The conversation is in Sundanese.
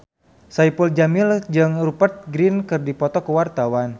Saipul Jamil jeung Rupert Grin keur dipoto ku wartawan